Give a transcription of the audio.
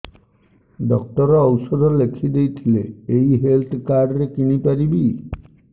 doctor ଔଷଧ ଲେଖିଦେଇଥିଲେ ଏଇ ହେଲ୍ଥ କାର୍ଡ ରେ କିଣିପାରିବି